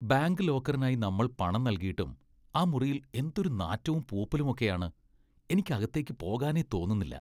Bank ലോക്കറിനായി നമ്മൾ പണം നൽകിയിട്ടും, ആ മുറിയിൽ എന്തൊരു നാറ്റവും പൂപ്പലും ഒക്കെയാണ് , എനിക്ക് അകത്തേക്ക് പോകാനേ തോന്നുന്നില്ല.